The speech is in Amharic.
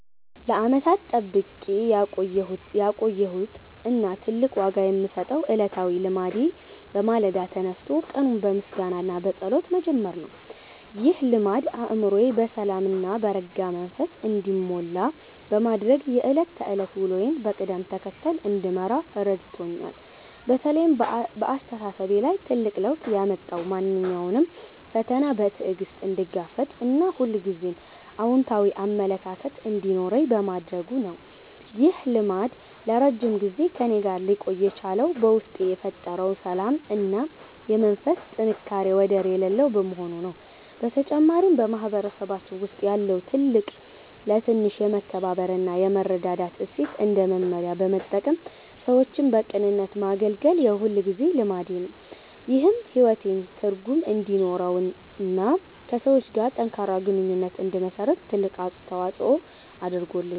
ለዓመታት ጠብቄ ያቆየሁት እና ትልቅ ዋጋ የምሰጠው ዕለታዊ ልማዴ በማለዳ ተነስቶ ቀኑን በምስጋና እና በጸሎት መጀመር ነው። ይህ ልማድ አእምሮዬ በሰላም እና በረጋ መንፈስ እንዲሞላ በማድረግ የዕለት ተዕለት ውሎዬን በቅደም ተከተል እንድመራ ረድቶኛል። በተለይ በአስተሳሰቤ ላይ ትልቅ ለውጥ ያመጣው ማንኛውንም ፈተና በትዕግስት እንድጋፈጥ እና ሁልጊዜም አዎንታዊ አመለካከት እንዲኖረኝ በማድረጉ ነው። ይህ ልማድ ለረጅም ጊዜ ከእኔ ጋር ሊቆይ የቻለው በውስጤ የፈጠረው ሰላም እና የመንፈስ ጥንካሬ ወደር የሌለው በመሆኑ ነው። በተጨማሪም፣ በማህበረሰባችን ውስጥ ያለውን ትልቅ ለትንሽ የማክበር እና የመረዳዳት እሴት እንደ መመሪያ በመጠቀም ሰዎችን በቅንነት ማገልገል የሁልጊዜ ልማዴ ነው። ይህም ሕይወቴ ትርጉም እንዲኖረውና ከሰዎች ጋር ጠንካራ ግንኙነት እንድመሰርት ትልቅ አስተዋጽኦ አድርጓል።